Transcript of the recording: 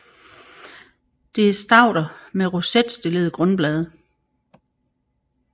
Det er stauder med rosetstillede grundblade